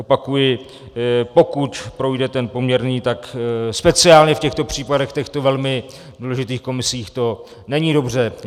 Opakuji, pokud projde ten poměrný, tak speciálně v těchto případech, v těchto velmi důležitých komisích, to není dobře.